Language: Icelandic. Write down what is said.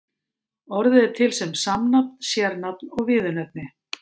Orðið er til sem samnafn, sérnafn og viðurnefni.